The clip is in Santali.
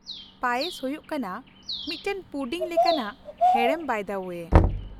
ᱯᱟᱭᱮᱥ ᱦᱩᱭᱩᱜ ᱠᱟᱱᱟ ᱢᱤᱫᱴᱟᱝ ᱯᱩᱰᱤᱝ ᱞᱮᱠᱟᱱᱟᱜ ᱦᱮᱲᱮᱢ ᱵᱟᱭ ᱫᱟ ᱳᱭᱮ ᱾